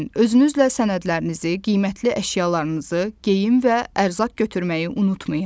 Özünüzlə sənədlərinizi, qiymətli əşyalarınızı, geyim və ərzaq götürməyi unutmayın.